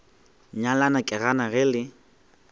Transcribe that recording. nyalana ke gana ge le